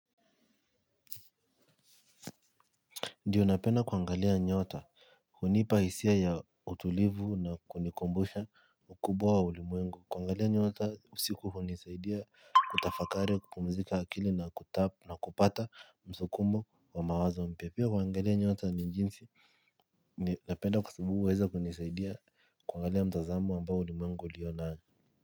Ndiyo napenda kuangalia nyota. Huniipa hisia ya utulivu na kunikumbusha ukubwa wa ulimwengu kuangalia nyota usiku hunisaidia kutafakari kupumzika akili na kupata msukumo wa mawazo mpya pia kuangalia nyota ni jinsi napenda kwa sababu huweza kunisaidia kuangalia mtazamo ambao ulimwengu lio nao.